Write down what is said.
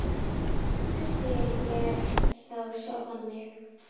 spyr ég þá sjálfan mig.